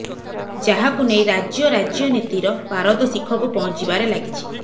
ଯାହାକୁ ନେଇ ରାଜ୍ୟ ରାଜ୍ୟନୀତିର ପାରଦ ଶିଖକୁ ପହଁଚିବାରେ ଲାଗିଛି